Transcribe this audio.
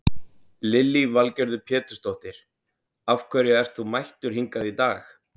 Lillý Valgerður Pétursdóttir: Af hverju ert þú mættur hingað í dag?